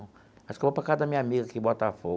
Acho que eu vou para a casa da minha amiga aqui em Bota Fogo.